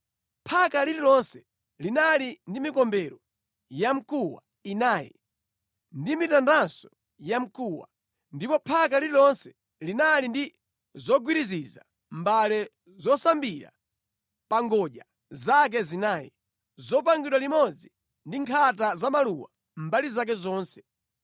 Phaka lililonse linali ndi mikombero ya mkuwa inayi ndi mitandanso ya mkuwa, ndipo phaka lililonse linali ndi zogwiriziza mbale zosambira pa ngodya zake zinayi, zopangidwa limodzi ndi nkhata za maluwa mbali zake zonse.